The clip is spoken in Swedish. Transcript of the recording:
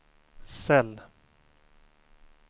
cell